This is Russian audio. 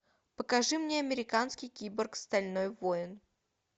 покажи мне американский киборг стальной воин